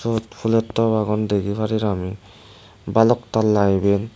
swot fulotop agon degi parir ami balok tala eben.